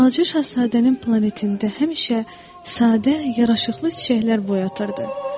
Balaca Şahzadənin planetində həmişə sadə yaraşıqlı çiçəklər boyatırırdı.